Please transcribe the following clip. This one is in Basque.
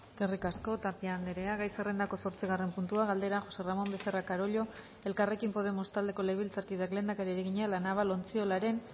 eskerrik asko tapia andrea gai zerrendako zortzigarren puntua galdera josé ramón becerra carollo elkarrekin podemos taldeko legebiltzarkideak lehendakariari egina la naval ontziolaren